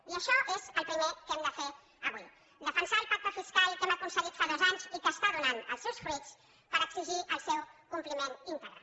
i això és el primer que hem de fer avui defensar el pacte fiscal que hem aconseguit fa dos anys i que està donant els seus fruits per exigir el seu compliment íntegre